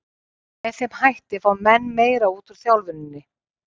Með þeim hætti fá menn meira út úr þjálfuninni.